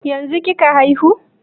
Yanzun kika haihu?